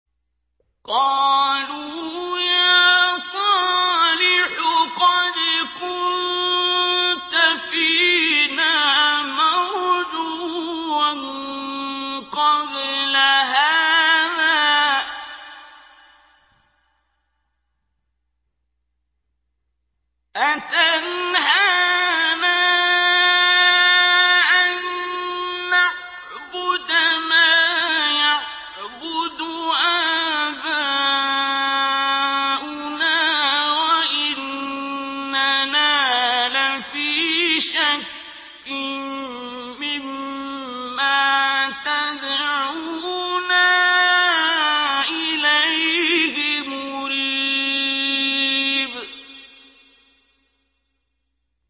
قَالُوا يَا صَالِحُ قَدْ كُنتَ فِينَا مَرْجُوًّا قَبْلَ هَٰذَا ۖ أَتَنْهَانَا أَن نَّعْبُدَ مَا يَعْبُدُ آبَاؤُنَا وَإِنَّنَا لَفِي شَكٍّ مِّمَّا تَدْعُونَا إِلَيْهِ مُرِيبٍ